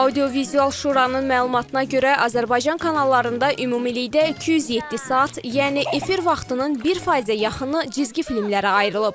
Audiovizual Şuranın məlumatına görə Azərbaycan kanallarında ümumilikdə 207 saat, yəni efir vaxtının bir faizə yaxını cizgi filmlərə ayrılıb.